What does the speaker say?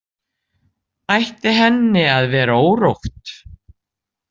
Ætti henni að vera órótt?